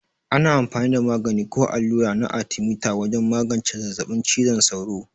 Ana amfani da magani ko allura na arthemeter wajen magance zazzabin cizon sauro.